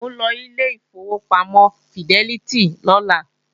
Mò ń lọ ilé ìfowópamọ́ fidẹ́lítì lọ́la